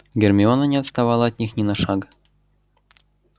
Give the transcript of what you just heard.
гермиона не отставала от них ни на шаг